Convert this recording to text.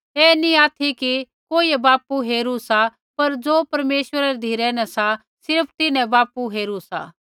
ऐ नी ऑथि कि कोइयै बापू हेरू सा पर ज़ो परमेश्वरै री धिरै न सा सिर्फ़ तिन्हैं बापू हेरू सा